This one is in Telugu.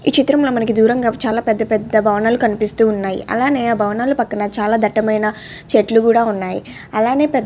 ఈ చిత్రంలో మనకి దూరంగా చాలా పెద్ద పెద్ద భవనాలు కనిపిస్తున్నాయి అలానే ఆ భవనాల పక్కన చాలా దట్టమైన చెట్లు కూడా ఉన్నాయి అలానే పెద్ద --